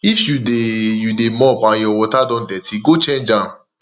if you dey you dey mop and your water don dirty go change am